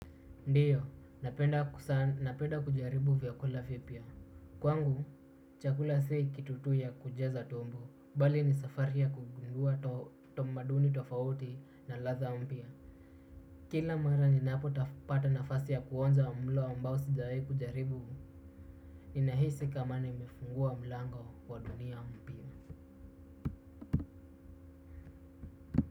Ndiyo, napenda kujaribu vyakula vipya. Kwangu, chakula si kitu tu ya kujaza tumbo. Bali ni safari ya kugundua tamaduni tofauti na ladha mpya. Kila mara ninapopata nafasi ya kuonja mlo ambao sijai kujaribu. Ninahisi kama nimefungua mlango wa dunia mpya.